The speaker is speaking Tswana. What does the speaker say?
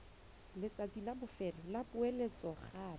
letsatsi la bofelo la poeletsogape